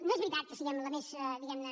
no és veritat que siguem la més diguem ne